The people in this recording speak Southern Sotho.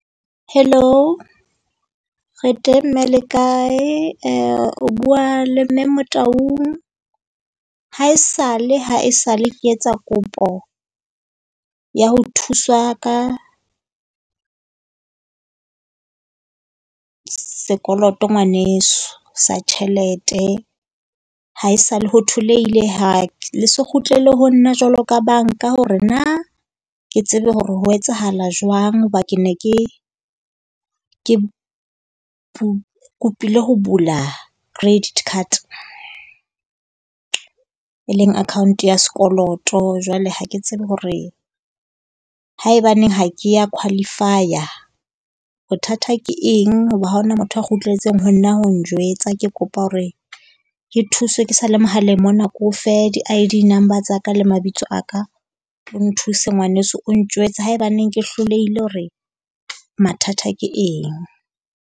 Hello, re teng mme le kae? O bua le mme Motaung. Haesale haesale ke etsa kopo ya ho thuswa ka sekoloto, ngwaneso. Sa tjhelete haesale ho tholehile ha le se kgutlele ho nna jwalo ka banka hore na ke tsebe hore ho etsahala jwang. Hoba ke ne ke kopile ho bula credit card e leng account ya sekoloto. Jwale ha ke tsebe hore haebaneng ha ke a qualify-a bothata ke eng? Hoba ha ho na motho ya kgutletseng ho nna ho njwetsa. Ke kopa hore ke thuswa ke sa le mohaleng mona ke o fe di-ID number tsa ka le mabitso a ka o nthuse ngwaneso. O njwetse haebaneng ke hlolehile hore mathata ke eng?